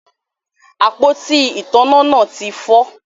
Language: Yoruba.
Àpótí ìtanná náà ti fọ